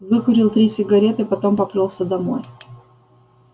выкурил три сигареты потом поплёлся домой